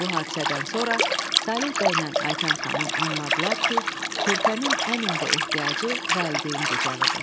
Bu hadisədən sonra Saleh bəylə Aytən xanım anladılar ki, körpənin ən ümdə ehtiyacı valideyn qucağıdır.